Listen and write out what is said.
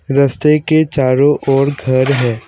रस्ते के चारों ओर घर है।